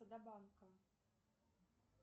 до банка